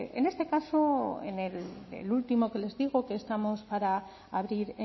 en este caso en el último que les digo que estamos para abrir